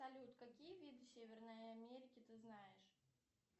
салют какие виды северной америки ты знаешь